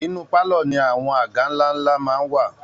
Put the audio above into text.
Inú pálọ̀ ni àwọn àga ńlá ńlá máa ń wà